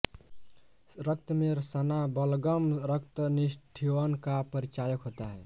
रक्त में सना बलगम रक्तनिष्ठीवन का परिचायक होता है